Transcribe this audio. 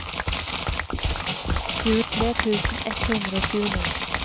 tjuetre tusen ett hundre og tjueni